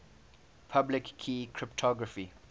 public key cryptography